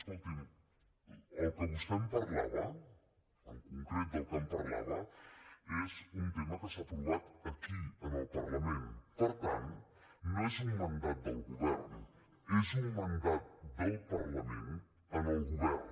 escolti’m del que vostè em parlava en concret del que em parlava és un tema que s’ha aprovat aquí en el parlament per tant no és un mandat del govern és un mandat del parlament al govern